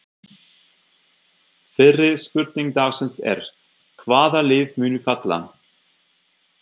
Fyrri spurning dagsins er: Hvaða lið munu falla?